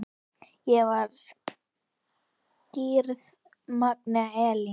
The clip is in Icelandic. Ég var skírð Magnea Elín.